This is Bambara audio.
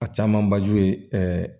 A caman ba ju ye